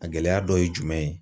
A gɛlɛya dɔ ye jumɛn ye